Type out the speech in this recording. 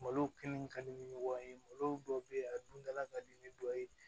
Malo kelen ka di ni ɲɔgɔn ye malo dɔ bɛ yen a dun dala ka di ni dɔ ye